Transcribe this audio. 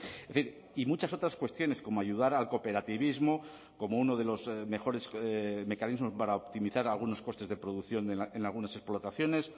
es decir y muchas otras cuestiones como ayudar al cooperativismo como uno de los mejores mecanismos para optimizar algunos costes de producción en algunas explotaciones